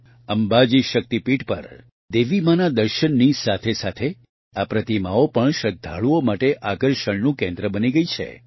અંબાજી શક્તિપીઠ પર દેવીમાના દર્શનની સાથેસાથે આ પ્રતિમાઓ પણ શ્રદ્ધાળુઓ માટે આકર્ષણનું કેન્દ્ર બની ગઇ છે